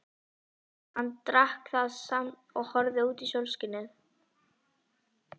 Hann drakk það samt og horfði út í sólskinið.